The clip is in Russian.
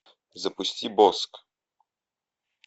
запусти боск